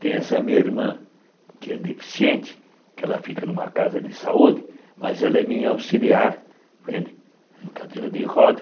Tem essa minha irmã que é deficiente, que ela fica numa casa de saúde, mas ela é minha auxiliar, em cadeira de